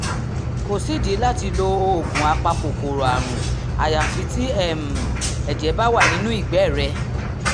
kò sídìí láti lo oògùn apakòkòrò àrùn àyàfi tí um ẹ̀jẹ̀ bá wà nínú ìgbẹ́ rẹ̀